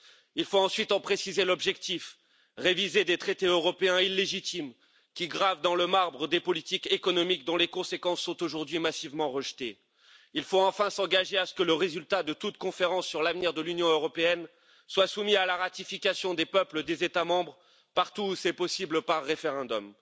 Il faut ensuite en préciser l'objectif réviser des traités européens illégitimes qui gravent dans le marbre des politiques économiques dont les conséquences sont aujourd'hui massivement rejetées. Il faut enfin s'engager à ce que le résultat de toute conférence sur l'avenir de l'Union européenne soit soumis à la ratification des peuples des États membres, partout où c'est possible, par référendum.